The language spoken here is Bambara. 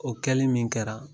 O kɛli min kɛra